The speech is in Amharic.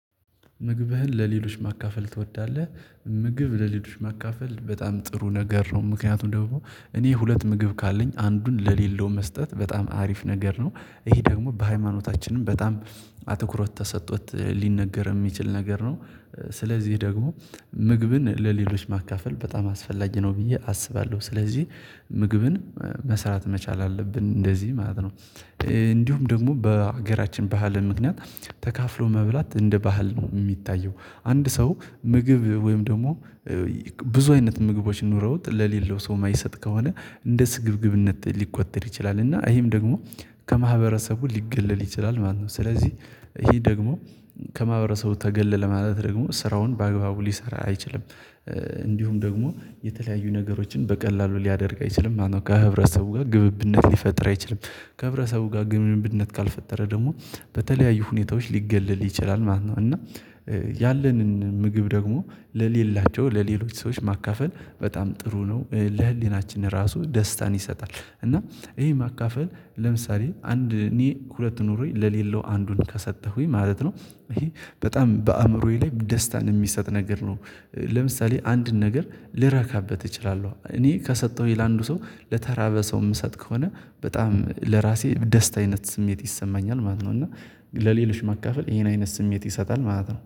ምግብህን ለሌሎች ማካፈል ትወዳለህ? ምግብ ለሌሎች ማካፈል በጣም ጥሩ ነገር ነው ምክንያቱም ደግሞ እኔ ሁለት ምግብ ካለኝ አንዱን ለሌለው መስጠት በጣም አሪፍ ነገር ነው። ይሄ ደግሞ በሃይማኖታችንም በጣም አትኩሮት ተሰጥቶት ሊነገር የሚችል ነገር ነው። ስለዚህ ደግሞ ምግብን ለሌሎች ማካፈል በጣም አስፈላጊ ነው ብዬ አስባለሁ ስለዚህ ምግብን መስራት መቻል አለብን እንደዚህ ማለት ነው። እንዲሁም ደግሞ በሀገራችን ባህል ምክንያት ተካፍሎ መብላት እንደ ባህል ነው የሚታየው። አንድ ሰው ምግብ ወይም ደግሞ ብዙ አይነት ምግቦች ኑረውት ለሌለው ሰው የማይሰጥ ከሆነ እንደ ስግብግብነት ሊቆጠር ይችላል እና ይሄም ደግሞ ከማህበረሰቡ ሊገለል ይችላል ማለት ነው። ስለዚህ ይሄ ደግሞ ከማብረሰቡ ተገለለ ማለት ደግሞ ስራውን በአግባቡ ሊሰራ አይችልም። እንዲሁም ደግሞ የተለያዩ ነገሮችን በቀላሉ ሊያደርግ አይችልም ማለት ነው። ከህብረተሰቡ ጋር ግብብነት ሊፈጥር አይችልም። ከህብረሰቡ ጋር ግብብነት ካልፈጠረ ደግሞ በተለያዩ ሁኔታዎች ሊገለል ይችላል ማለት ነው። እና ያለንን ምግብ ደግሞ ለሌላቸው ለሌሎች ሰዎች ማካፈል በጣም ጥሩ ነው ለህሊናችን ራሱ ደስታን ይሰጣል እና ይሄ ማካፈል ለምሳሌ አንድ እኔ ሁለት ኑሮዬ ለሌለው አንዱን ከሰጠሁኝ ማለት ነው ይሄ በጣም በአእምሮዬ ላይ ደስታን የሚሰጥ ነገር ነው። ለምሳሌ አንድን ነገር ልረካበት እችላለሁ እኔ ከሰጠሁኝ ለአንዱ ሰው ለተራበ ሰው የምሰጥ ከሆነ በጣም ለራሴ ደስታ አይነት ስሜት ይሰማኛል ማለት ነው። እና ለሌሎች ማካፈል ይሄን አይነት ስሜት ይሰጣል ማለት ነው